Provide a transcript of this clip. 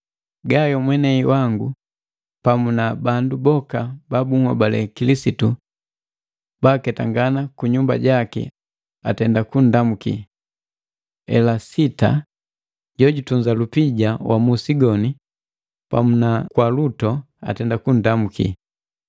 Gayo mwenei wangu, pamu na bandu boka ba bunhobale Kilisitu baaketangana kunyumba jaki atenda kunndamuki. Elasita jojutunza lupija wa musi goni, pamu na Kwaluto, atenda kunndamuki.